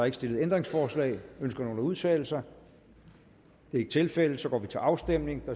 ikke stillet ændringsforslag ønsker nogen at udtale sig det er ikke tilfældet og så går vi til afstemning